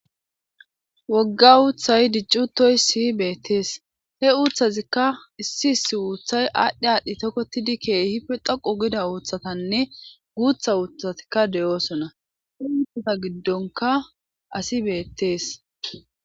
Wogga uuthay diccutoy si beettees he uuthazikka issi issi uuthay aadhdhi aadhdhi tokkotidi keehipe dhoqo gida uuththatanne guutha uuthatikka de'oosona he uutthata giddonka asi beettees